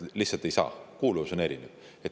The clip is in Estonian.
Lihtsalt ei saa, kuuluvus on erinev.